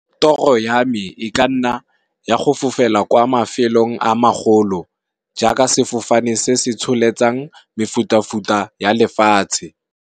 Toro ya me e ka nna ya go fofela kwa mafelong a magolo jaaka sefofane se se tsholetsang mefuta futa ya lefatshe.